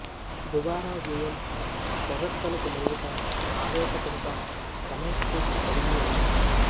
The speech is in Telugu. దుబారా వ్యయం పొగడ్తలకు లొంగుట ఆవేశపడుట సమయస్ఫూర్తి కలిగి ఉంటారు